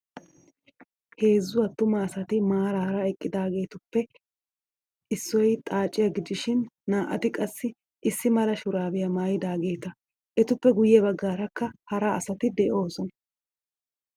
Heezzu attuma asati maaraara eqqidaageetuppe issoy xaaciya gidishin naa'ati qassi issi mala shuraabiya mayyodaageeta. Etuppe guyye baggaarakka hara asati de'oosona.